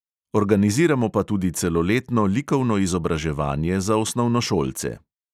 Organiziramo pa tudi celoletno likovno izobraževanje za osnovnošolce.